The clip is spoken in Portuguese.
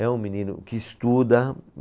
É um menino que estuda.